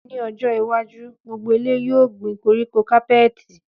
Ní ọjọ́ iwájú, gbogbo ilé yóò gbin koríko kápẹẹtì